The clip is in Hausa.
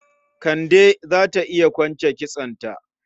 Kande za ta iya kwance kitsonta.